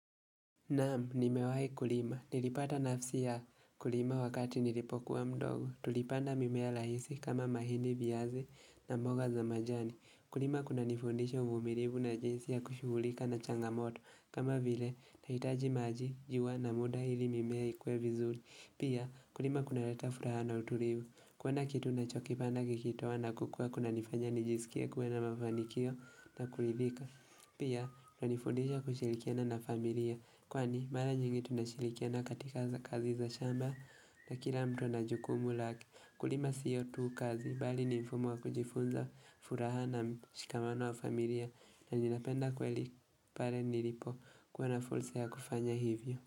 Naam, nimewahi kulima. Nilipata nafsi ya kulima wakati nilipokuwa mdogo. Tulipanda mimea rahisi kama mahindi viazi na mboga za majani. Kulima kunanifundisha uvumilivu na jinsi ya kushughulika na changamoto. Kama vile, itahitaji maji, jua na muda ili mimea ikue vizuri. Pia, kulima kunaleta furaha na utulivu. Kuona kitu ninachokipanda kikitoa na kukua kunanifanya nijisikia kuwe na mafanikio na kuridhika. Pia nanifundisha kushirikiana na familia kwani mara nyingi tunashirikiana katika za kazi za shamba na kila mtu ana jukumu lake kulima sio tu kazi bali ni mfumo wa kujifunza furaha na mshikamano wa familia na ninapenda kweli pale nilipokua na fursa ya kufanya hivyo.